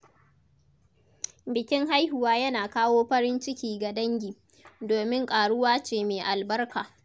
Bikin haihuwa yana kawo farin ciki ga dangi, domin ƙaruwa ce mai albarka.